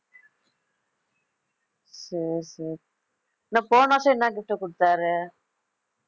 சரி சரி போன வருஷம் என்ன gift குடுத்தாரு